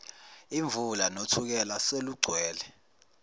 imvula nothukela selugcwele